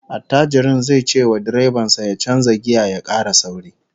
Attajirin zai cewa direban sa ya canza giya ya kara sauri